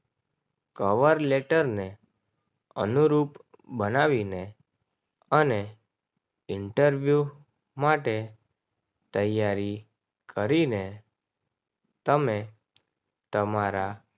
cover letter ને અનુરૂપ બનાવીને અને ઇન્ટરવ્યૂ માટે તૈયારી કરીને તમે તમારા